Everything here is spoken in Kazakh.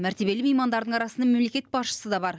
мәртебелі меймандардың арасында мемлекет басшысы да бар